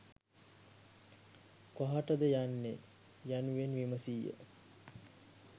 කොහාටද යන්නේ යනුවෙන් විමසීය